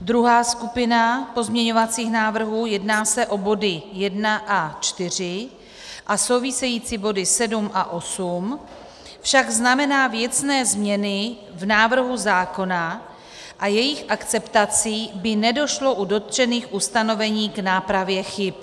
Druhá skupina pozměňovacích návrhů - jedná se o body 1 a 4 a související body 7 a 8 - však znamená věcné změny v návrhu zákona a jejich akceptací by nedošlo u dotčených ustanovení k nápravě chyb.